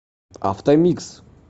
автомикс